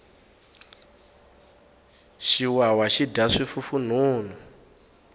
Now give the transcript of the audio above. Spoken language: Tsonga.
xiwawa xi dya swifufunhunhu